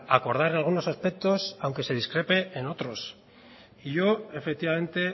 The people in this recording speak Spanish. acordar algunos aspectos aunque se discrepe en otros y yo efectivamente